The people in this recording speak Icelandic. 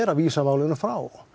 að vísa málunum frá